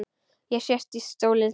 Ég sest í stólinn þinn.